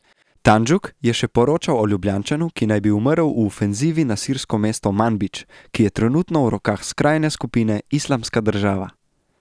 Tanjug je še poročal o Ljubljančanu, ki naj bi umrl v ofenzivi na sirsko mesto Manbidž, ki je trenutno v rokah skrajne skupine Islamska država.